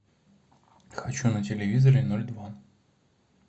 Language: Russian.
хочу на телевизоре ноль два